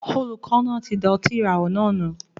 Olùkọ náà tí da ọtí ìràwọ̀ náà nù